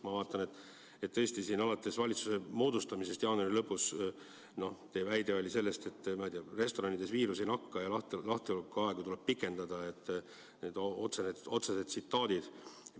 Ma vaatan tõesti, alates valitsuse moodustamisest jaanuari lõpus, noh, teie väide oli, et restoranides viirus ei nakka ja lahtiolekuaega tuleb pikendada, otsesed tsitaadid.